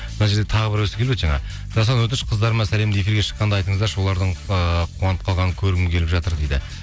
мына жерде тағы біреуісі келіп еді жаңа жасұлан өтініш қыздарыма сәлемді эфирде шыққанда айтыңыздаршы олардың ыыы қуанып қалғанын көргім келіп жатыр дейді